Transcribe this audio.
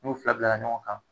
N'u fila bilala ɲɔgɔn kan